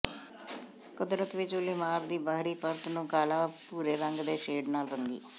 ਕੁਦਰਤ ਵਿਚ ਉੱਲੀਮਾਰ ਦੀ ਬਾਹਰੀ ਪਰਤ ਨੂੰ ਕਾਲਾ ਭੂਰੇ ਰੰਗ ਦੇ ਸ਼ੇਡ ਨਾਲ ਰੰਗੀ